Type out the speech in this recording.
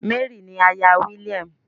Mary ni àyà William.